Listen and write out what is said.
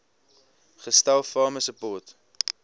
gestel farmer support